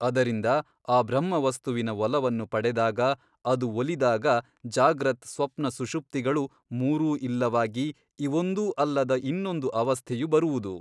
ಅದರಿಂದ ಆ ಬ್ರಹ್ಮವಸ್ತುವಿನ ಒಲವನ್ನು ಪಡೆದಾಗ ಅದು ಒಲಿದಾಗ ಜಾಗ್ರತ್ ಸ್ವಪ್ನ ಸುಷುಪ್ತಿಗಳು ಮೂರೂ ಇಲ್ಲವಾಗಿ ಇವೊಂದೂ ಅಲ್ಲದ ಇನ್ನೊಂದು ಅವಸ್ಥೆಯು ಬರುವುದು.